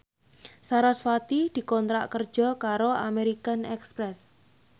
sarasvati dikontrak kerja karo American Express